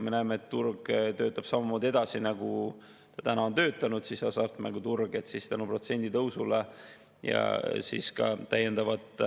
Me näeme, et turg töötab samamoodi edasi, nagu ta on töötanud, hasartmänguturg, ja tänu protsendi tõusule tuleb ka täiendavat